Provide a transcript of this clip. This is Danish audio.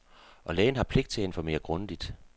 Og lægen har pligt til at informere grundigt.